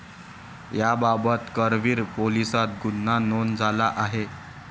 याबाबत करवीर पोलिसात गुन्हा नोंद झाला आहे.